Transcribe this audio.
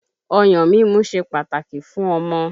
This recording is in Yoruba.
Ọyàn mímu ṣe pàtàkì fún ọmọ